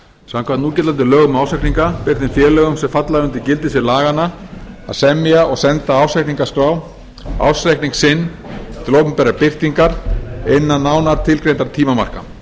samkvæmt núgildandi lögum um ársreikninga ber þeim félögum sem falla undir gildissvið laganna að semja og senda ársreikningaskrá ársreikning sinn til opinberrar birtingar innan nánar tilgreindra tímamarka